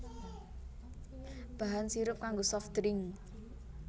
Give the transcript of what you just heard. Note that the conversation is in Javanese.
Bahan sirup kanggo soft drink